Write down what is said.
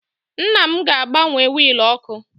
Nna m ga-agbanwe wiil oku